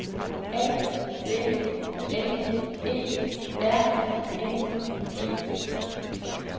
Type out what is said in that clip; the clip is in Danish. A V N E R N E